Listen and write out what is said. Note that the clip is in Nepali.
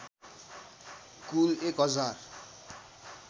कुल १ हजार